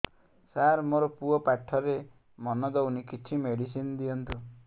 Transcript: ସାର ମୋର ପୁଅ ପାଠରେ ମନ ଦଉନି କିଛି ମେଡିସିନ ଦିଅନ୍ତୁ